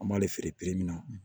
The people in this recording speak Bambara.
An b'ale feere min na